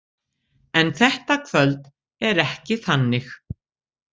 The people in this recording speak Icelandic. En þetta kvöld er ekki þannig.